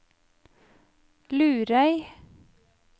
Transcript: Lurøy